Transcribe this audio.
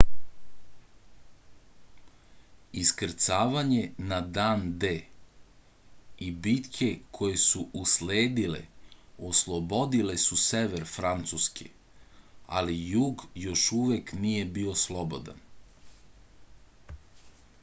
iskrcavanje na dan d i bitke koje su usledile oslobodile su sever francuske ali jug još uvek nije bio slobodan